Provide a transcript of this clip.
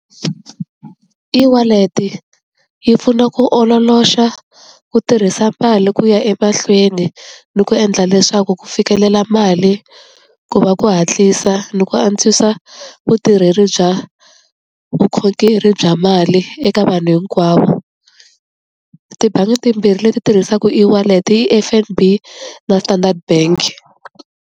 E-wallet yi pfuna ku ololoxa ku tirhisa mali ku ya emahlweni ni ku endla leswaku ku fikelela mali ku va ku hatlisa ni ku antswisa vutirheli bya vukhongeri bya mali eka vanhu hinkwavo tibangi timbirhi leti tirhisaka e-wallet i F_N_B na Standard Bank.